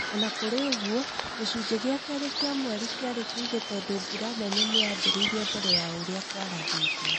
O na kũrĩ ũguo, gĩcunjĩ gĩa kerĩ kĩa mweri kĩarĩ kĩ ĩgo tondũ mbura nene nĩ yambĩrĩirie mbere ya ũrĩa kwarathĩtwo. Kwa mũhiano